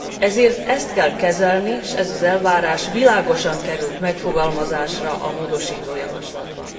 Ezért ezt kell kezelni, s ez az elvárás világosan került megfogalmazásra a módosító javaslatban.